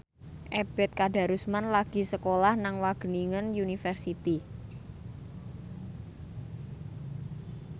Ebet Kadarusman lagi sekolah nang Wageningen University